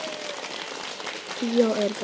Bíó er best.